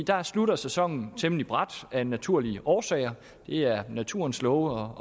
der slutter sæsonen temmelig brat af naturlige årsager det er naturens love